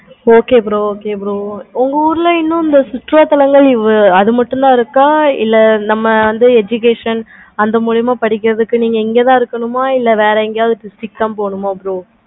okay bro okay bro உங்க ஊருல இன்னும் அந்த குற்றாலத்துல அது மட்டும் தன இருக்கு. இல்லா நம்ம வந்து education அது மூலியமா சீக்கிரமா படிக்கிறதுக்கு நீங்க இங்க தன இருக்கணுமா இல்ல வேற எங்கயாவது போணுமா bro